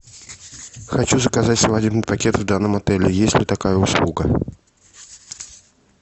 хочу заказать свадебный пакет в данном отеле есть ли такая услуга